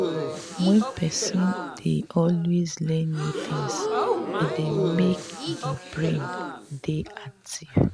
when person dey always learn new things e dey make di brain dey active